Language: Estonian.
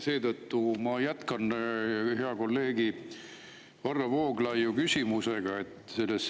Seetõttu ma jätkan hea kolleegi Varro Vooglaiu küsimust.